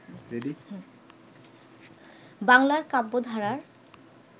বাংলার কাব্যধারার